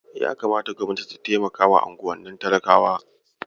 Ya kamata Gobnati ta taimakawa unguwannin talakawa.